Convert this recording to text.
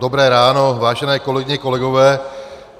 Dobré ráno, vážené kolegyně, kolegové.